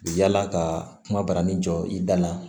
Yala ka kuma barani jɔ i da la